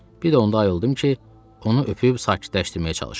Bir də onda ayıldım ki, onu öpüb sakitləşdirməyə çalışıram.